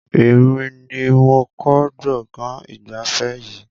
Èmi ni mo kọ́ gbọ̀ngàn ìgbafẹ́ yìí